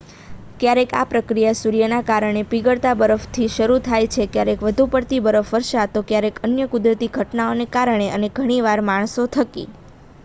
ક્યારેક આ પ્રક્રિયા સૂર્યના કારણે પીગળતા બરફથી શરૂ થાય છે ક્યારેક વધુ પડતી બરફવર્ષથી તો ક્યારેક અન્ય કુદરતી ઘટનાઓને કારણે અને ઘણીવાર માણસો થકી